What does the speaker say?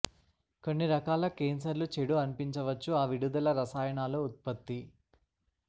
కొన్ని రకాల కేన్సర్లు చెడు అనిపించవచ్చు ఆ విడుదల రసాయనాలు ఉత్పత్తి